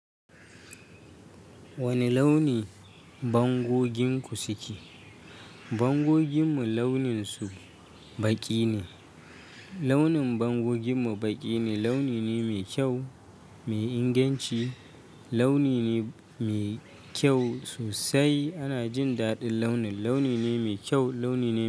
Wane launi bangoginku suke? Bangoginmu launin su baƙi ne. Launin bangoginmu baƙi ne, launi ne mai kyau, mai inganci, launi ne mai kyau sosai. Ana jin daɗin launin, launi ne mai kyau, launi ne.